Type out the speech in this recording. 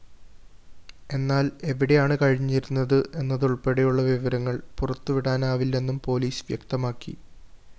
എന്നാല്‍ എവിടെയാണ്‌ കഴിഞ്ഞിരുന്നത്‌ എന്നതുള്‍പ്പെടെയുള്ള വിവരങ്ങള്‍ പുറത്തുവിടാനാവില്ലെന്നും പോലീസ്‌ വ്യക്തമാക്കി